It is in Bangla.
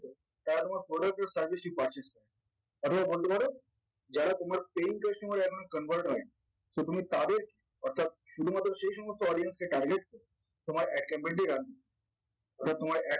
তারা তোমার product এর servicing পাচ্ছে অথবা বলতে পারো যারা তোমার paying customer এ এখনো convert হয়নি তো তুমি তাদের অর্থাৎ শুধুমাত্র সেইসমস্ত audience কে target তোমার ad capability রাখবে ওটা তোমার